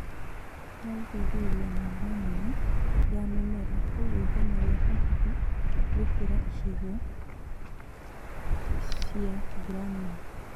wa gũteithĩrĩria namba nene ya mĩmera kwoguo ithenya rĩa hakuhĩ gũkĩra icigo fia mbura Nini